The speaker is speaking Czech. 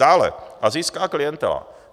Dále - asijská klientela.